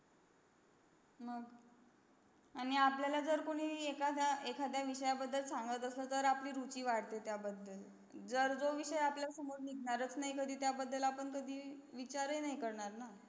आणि आपल्याला जर कोणी एखाद्या एकध्या विषय बद्दल संगत असेल तर आपली रुचि वाढते त्याबद्दल जर जो विषय आपल्या समोर निघनारस नाही कधी त्याबादळ आपण कधी विचारही नाही करणार ना